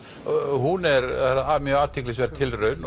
hún er mjög athyglisverð tilraun